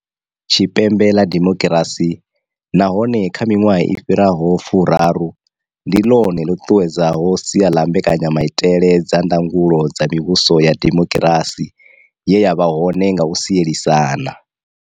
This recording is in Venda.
Tshipembe ḽa demo kirasi, nahone kha miṅwaha i fhiraho furaru, ndi ḽone ḽo ṱuṱuwedzaho sia ḽa mbekanyamaitele dza ndangulo dza mivhuso ya demokirasi ye ya vha hone nga u sielisana.